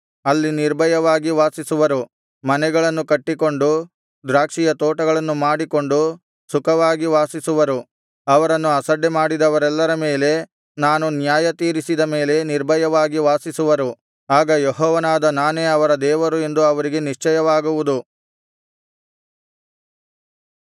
ಅಲ್ಲಿ ನಿರ್ಭಯವಾಗಿ ವಾಸಿಸುವರು ಮನೆಗಳನ್ನು ಕಟ್ಟಿಕೊಂಡು ದ್ರಾಕ್ಷಿಯ ತೋಟಗಳನ್ನು ಮಾಡಿಕೊಂಡು ಸುಖವಾಗಿ ವಾಸಿಸುವರು ಅವರನ್ನು ಆಸಡ್ಡೆ ಮಾಡಿದವರೆಲ್ಲರ ಮೇಲೆ ನಾನು ನ್ಯಾಯ ತೀರಿಸಿದ ಮೇಲೆ ನಿರ್ಭಯವಾಗಿ ವಾಸಿಸುವರು ಆಗ ಯೆಹೋವನಾದ ನಾನೇ ಅವರ ದೇವರು ಎಂದು ಅವರಿಗೆ ನಿಶ್ಚಯವಾಗುವುದು